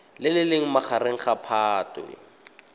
le leng magareng ga phatwe